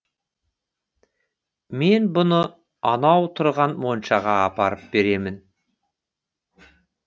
мен бұны анау тұрған моншаға апарып беремін